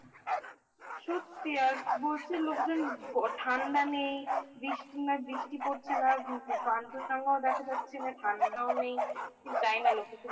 সত্যি আর বলছে লোকজন ঠান্ডা নেই বৃষ্টি নেই বৃষ্টি পড়ছে না Kanchanjunga ও দেখা যাচ্ছে না ঠান্ডাও নেই ঠিক জানিনা লোকে